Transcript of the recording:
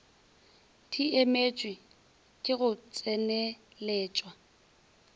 di emetšwe ke go tseneletšwa